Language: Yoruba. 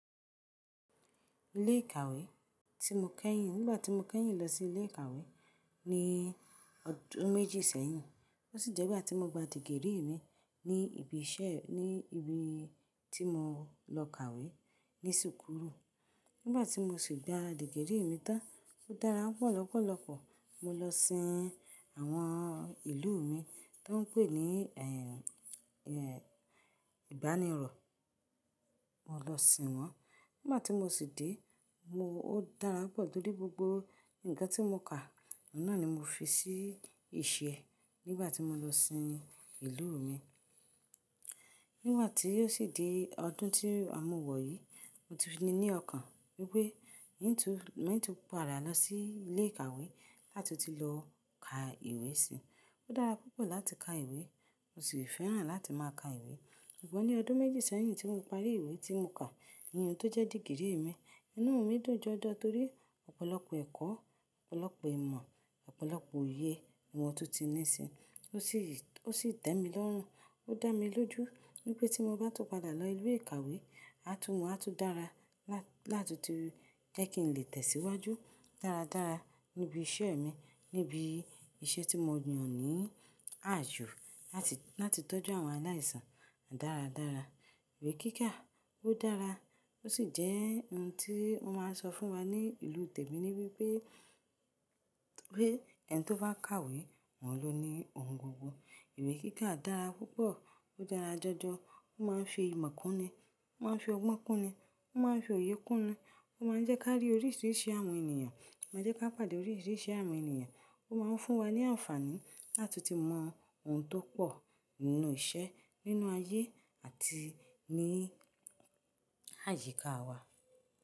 Ilé ìkàwé tí mo kẹ́yìn, nígbà tí mo kẹ́yìn lọ sí ilé ìkàwé ní ọdún méjì sẹ́yìn, ó sì jẹ́ ìgbà tí mo gba dìgírì mi ní ibi iṣẹ́, ní ibi tí mo lọ kàwé ní sùúku. Nígbà tí mo sì gba dìgírì mi tán, ó dára pọ̀ lọ́pọ̀lọpọ̀. Mo lọ sin àwọn ìlú mi tó ń pè ní, ẹ́, ẹ́, ìbánirọ̀. Mo lọ sin wọ́n. Nígbà tí mo sì dé, mo, ó dára pọ̀ torí gbogbo nǹkan tí mo kà, náà ni mo fi sí ìṣe nígbà tí mo lọ sin ìlú mi. Nígbà tí ó sì di ọdún tí a mú wọ̀ yìí, mo ti fi ni ní ọkàn wípé, ìn tún, in tun padà lọ sí ilé ìkàwé láti ti lọ ka ìwé síi. Ó dára púpọ̀ láti ka ìwé, mo sì fẹ́ràn láti máa ka ìwé. Ṣùgbọ́n ní ọdún méjì sẹ́yìn tí mo parí ìwé tí mo kà, èyí tó jẹ́ dìgírì mi, inú mi dùn jọjọ torí ọ̀pọ̀lọpọ̀ ẹ̀kọ́, ọ̀pọ̀lọpọ̀ ìmọ̀, ọ̀pọ̀lọpọ̀ òye ni mo tún ti ní sí. Ó sì, ó sì tẹ́ mi lọ́run, ó dá mi lójú wípé tí mo bá tún padà lọ ilé ìkàwé, a tún mọ̀, a tún dára lá tun ti jẹ́ kí n lè tẹ̀síwájú dáradára níbi iṣẹ́ mi, níbi iṣẹ́ tí mo yàn ní àyo láti, láti tọ́jú àwọn aláìsàn dáradára. Ìwé kíkà ó dára, ó sì jẹ́ ohun tí wọ́n máa ń sọ fún wa ní ìlú tèmi ni wípé, wípé ẹni tó bá kàwé, wọn ló ní ohun gbogbo. Ìwé kíkà dára púpọ̀, ó dára jọjọ, ó máa ń fi ìmọ̀ kún ni, ó máa ń fi ọgbọ́n kún ni, ó máa ń fi òye kún ni, ó máa ń jẹ́ ká rí oríṣiríṣi àwọn ènìyàn, ó máa ń jẹ́ ká pàdé oríṣiríṣi àwọn ènìyàn, ó máa ń fún wa ní àǹfààní lá tun ti mọ ohun tó pọ̀ nínú iṣẹ́, nínú ayé àti ní àyíká wa.